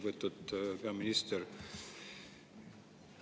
Lugupeetud peaminister!